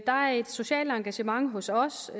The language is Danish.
der er et socialt engagement hos os